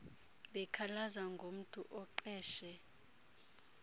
bekhalaza ngomntu oqeshe